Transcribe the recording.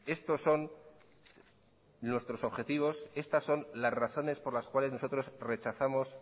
estos son nuestros objetivos estas son las razones por las cuales nosotros rechazamos